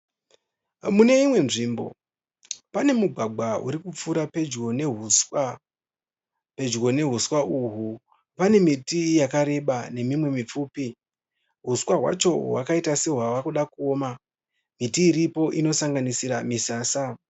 Muneino nzvimbo pane mugwagwa urikupfuura pedyo nehuswa, pedyo nehuswa uhwa pane miti yakareba nemimwe mipfupi. Huswa hwacho hwakaita sehwava kuda kuoma, miti iripo inosanganisira misasa.